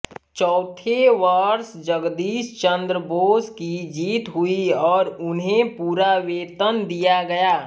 चौथे वर्ष जगदीश चंद्र बोस की जीत हुई और उन्हें पूरा वेतन दिया गया